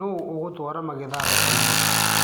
Nũ ũgatwaara magetha thokoinĩ.